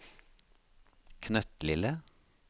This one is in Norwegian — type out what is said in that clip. knøttlille